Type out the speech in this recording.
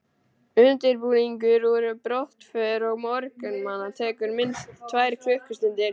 Undirbúningur að brottför á morgnana tekur minnst tvær klukkustundir.